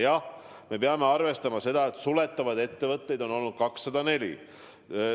Jah, me peame arvestama seda, et suletavaid ettevõtteid on olnud 204.